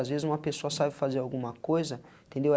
Às vezes, uma pessoa sabe fazer alguma coisa, entendeu?